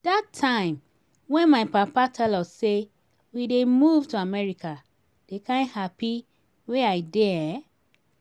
dat time when my papa tell us say we dey move to america the kyn happy wey i dey eh